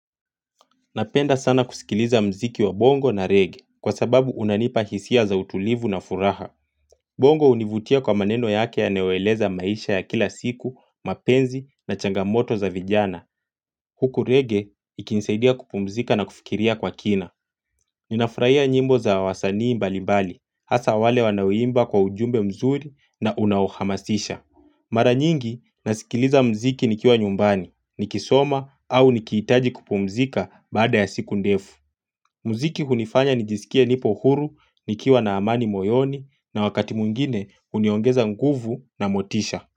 Napenda sana kusikiliza mziki wa bongo na regge kwa sababu unanipa hisia za utulivu na furaha. Bongo hunivutia kwa maneno yake yanayoeleza maisha ya kila siku, mapenzi na changamoto za vijana. Huku regge ikinsaidia kupumzika na kufikiria kwa kina. Ninafurahia nyimbo za wasanii mbali mbali hasa wale wanaoimba kwa ujumbe mzuri na unaohamasisha. Mara nyingi nasikiliza mziki nikiwa nyumbani ni kisoma au nikihitaji kupumzika baada ya siku ndefu. Muziki hunifanya nijisikie nipo huru nikiwa na amani moyoni na wakati mwingine huniongeza nguvu na motisha.